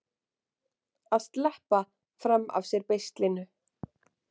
Að sleppa fram af sér beislinu